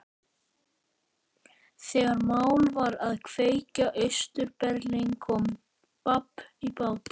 Þegar mál var að kveðja Austur-Berlín kom babb í bátinn.